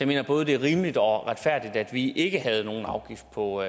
være både rimeligt og retfærdigt at vi ikke havde nogen afgift på